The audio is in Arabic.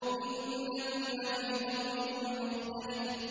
إِنَّكُمْ لَفِي قَوْلٍ مُّخْتَلِفٍ